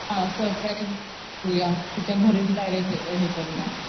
Surprise तिच्या घरीच direct हे करूया.